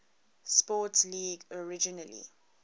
sports league originally